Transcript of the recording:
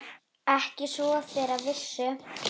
Ekki svo þeir vissu.